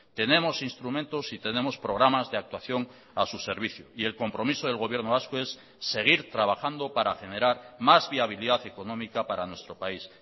tenemos instrumentos y tenemos programas de actuación a su servicio y el compromiso del gobierno vasco es seguir trabajando para generar más viabilidad económica para nuestro país